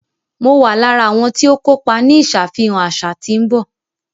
Mọ wà lára awọn tìọ kọpà ní ìṣàfihàn aṣa tí n bọ